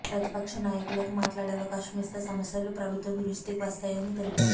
ప్రతిపక్ష నాయకులకు మాట్లాడే అవకాశం ఇస్తే సమస్యలు ప్రభుత్వం దృష్టికి వస్తాయని తెలిపారు